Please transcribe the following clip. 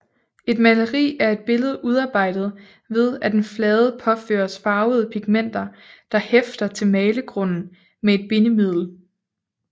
Et maleri er et billede udarbejdet ved at en flade påføres farvede pigmenter der hæfter til malegrunden med et bindemiddel